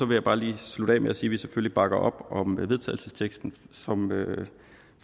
jeg bare lige slutte af med at sige at vi selvfølgelig bakker op om vedtagelsesteksten som